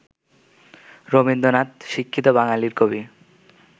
রবীন্দ্রনাথ, শিক্ষিত বাঙ্গালীর কবি